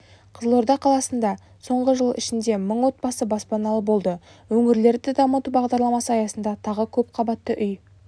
қызылорда қаласында соңғы жыл ішінде мың отбасы баспаналы болды өңірлерді дамыту бағдарламасы аясында тағы көпқабатты үй